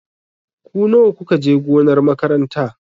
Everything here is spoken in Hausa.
Ku nawa ku ka je gonar makaranta?